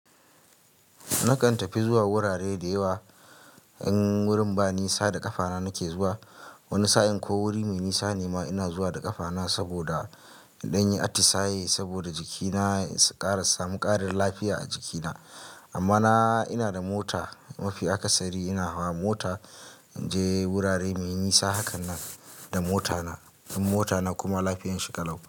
Na kan tafi zuwa wurare da yawa in wurin ba nisa da kafana nake zuwa wani sa'in ko wuri mai nisa ne ma ina zuwa da ƙafana saboda in danyi atisaye saboda jikina su ƙara samu ƙarin lafiya a jikina. Amma na ina da mota mafi akasari ina hawa mota in je wurare mai nisa hakan nan da motana in motana kuma lafiyan shi kalau.